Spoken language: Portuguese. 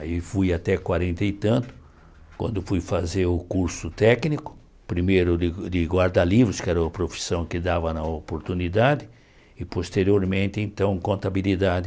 Aí fui até quarenta e tanto, quando fui fazer o curso técnico, primeiro de de guarda-livros, que era a profissão que dava na oportunidade, e posteriormente, então, contabilidade.